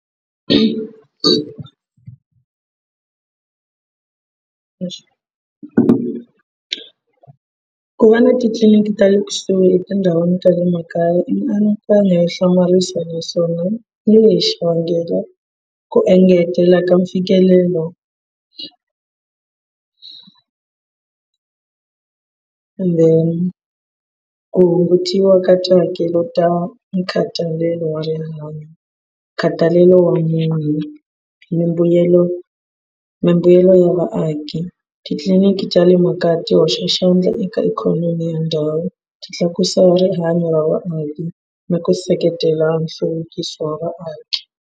Ku va na titliliniki ta le kusuhi etindhawini ta le makaya i mianakanyo yo hlamarisa naswona hi le xivangelo ku engetela ka mfikelelo ende ku hungutiwa ka tihakelo ta nkhatalelo wa rin'wanyana nkhathalelo wa munhu mimbuyelo mimbuyelo ya vaaki. Titliliniki ta le makaya ti hoxa xandla eka ikhonomi ya ndhawu ti tlakusa rihanyo ra vaaki ni ku seketela nhluvukiso wa vaaki.